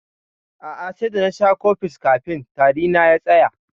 A'a, sai da nasha cofex kafin tari na ya tsaya.